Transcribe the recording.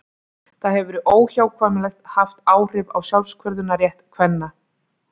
það hefur óhjákvæmilega haft áhrif á sjálfsákvörðunarrétt kvenna